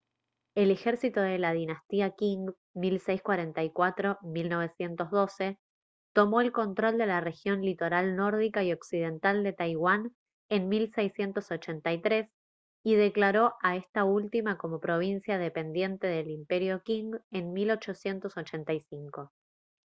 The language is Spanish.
el ejército de la dinastía qing 1644-1912 tomó el control de la región litoral nórdica y occidental de taiwán en 1683 y declaró a esta última como provincia dependiente del imperio qing en 1885